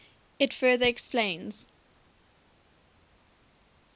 it further explains